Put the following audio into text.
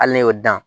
Hali ne y'o dan